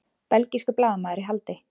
Belgískur blaðamaður í haldi